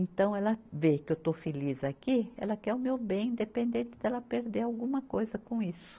Então, ela vê que eu estou feliz aqui, ela quer o meu bem, independente dela perder alguma coisa com isso.